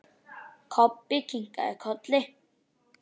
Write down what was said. Kobbi kinkaði kolli.